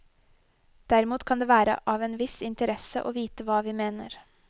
Derimot kan det være av en viss interesse å vite hva vi mener.